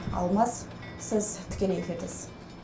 алмас сіз тікелей эфирдесіз